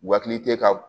U hakili tɛ ka